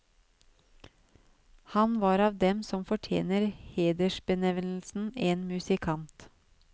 Han var av dem som fortjener hedersbenevnelsen en musikant.